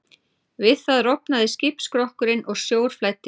Við það rofnaði skipsskrokkurinn og sjór flæddi inn.